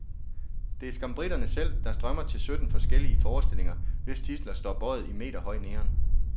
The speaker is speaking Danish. Det er skam briterne selv, der strømmer til de sytten forskellige forestillinger, hvis titler står bøjet i meterhøj neon.